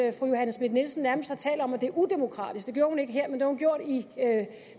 at fru johanne schmidt nielsen nærmest har talt om at det er udemokratisk det gjorde hun ikke her men det har hun gjort i